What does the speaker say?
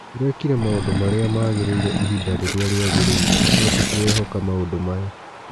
Tũrekire maũndu marĩ a magĩ rĩ ire ihinda rĩ rĩ a rĩ agĩ rĩ ire no tũtirehoka maũndũ maya.